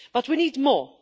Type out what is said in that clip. But we need more.